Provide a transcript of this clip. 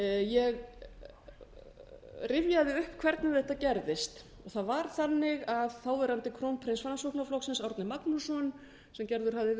ég rifjaði upp hvernig þetta gerðist það var þannig að þáverandi krónprins framsóknarflokksins árni magnússon sem gerður hafði verið að